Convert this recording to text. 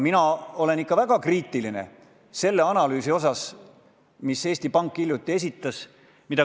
Mina olen väga kriitiline selle analüüsi osas, mille Eesti Pank hiljuti esitas.